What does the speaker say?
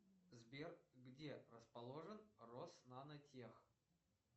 сбер где расположен роснанотех